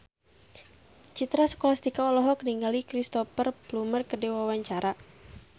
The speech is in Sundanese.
Citra Scholastika olohok ningali Cristhoper Plumer keur diwawancara